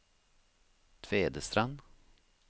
Tvedestrand